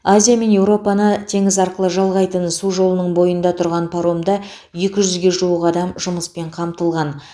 азия мен еуропаны теңіз арқылы жалғайтын су жолының бойында тұрған паромда екі жүзге жуық адам жұмыспен қамтылған